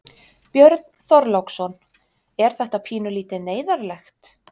Björn Þorláksson: Er þetta pínulítið neyðarlegt?